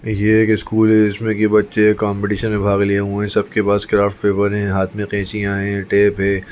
ये एक स्कूल है जिसमे की बच्चे कॉम्पिटीशन में भाग लिए हुए है सबके पास क्राफ्ट पेपर है हाथ में कैंचिया है टेप है।